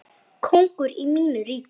Kóngur í mínu ríki.